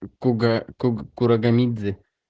куга куг кураганидзе